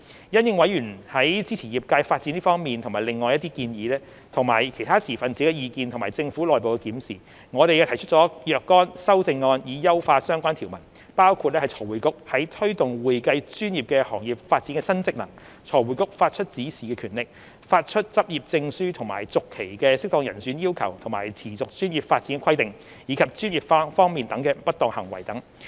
因應委員在支持業界發展這方面及另外一些建議，以及其他持份者的意見和政府內部檢視，我們提出了若干修正案以優化相關條文，包括財匯局在推動會計專業的行業發展的新職能、財匯局發出指示的權力、發出執業證書及續期的適當人選要求和持續專業發展規定，以及專業方面的不當行為等。